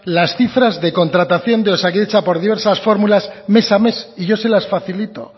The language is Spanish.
las cifras de contratación de osakidetza por diversas fórmulas mes a mes y yo se las facilito